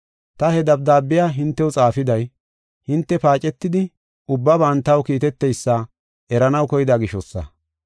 Ta he dabdaabiya hintew xaafiday, hinte paacetidi, ubbaban taw kiiteteysa eranaw koyida gishosa.